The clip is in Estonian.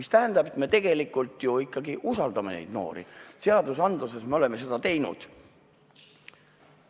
See tähendab, et me tegelikult ju ikkagi usaldame neid noori, seadustes me oleme seda teinud.